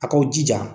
A k'aw jija